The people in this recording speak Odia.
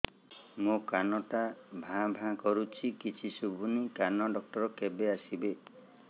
ମୋ କାନ ଟା ଭାଁ ଭାଁ କରୁଛି କିଛି ଶୁଭୁନି କାନ ଡକ୍ଟର କେବେ ଆସିବେ